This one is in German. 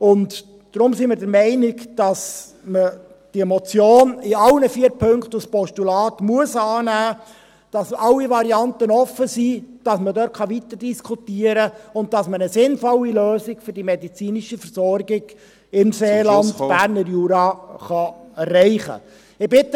Deshalb sind wir der Meinung, dass man diese Motion in allen vier Punkten als Postulat annehmen muss, damit alle Varianten offen sind, damit man dort weiterdiskutieren und man eine sinnvolle Lösung für die medizinische Versorgung im Seeland, …... Berner Jura erreichen kann.